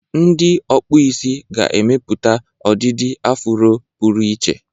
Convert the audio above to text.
Ndị ọkpụ isi ga-emepụta ọdịdị afụro pụrụ iche.